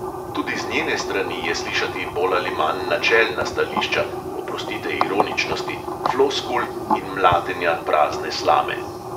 Tudi z njene strani je slišati bolj ali manj načelna stališča, oprostite ironičnosti, floskul in mlatenja prazne slame.